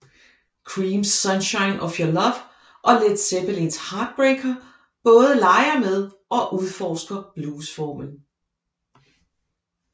Creams Sunshine of Your Love og Led Zeppelins Heartbreaker både leger med og udforsker bluesformen